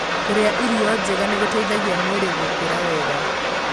Kũrĩa irio njega nĩ gũteithagia mwĩrĩ gũkũra wega.